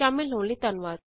ਸ਼ਾਮਲ ਹੋਣ ਲਈ ਧੰਨਵਾਦ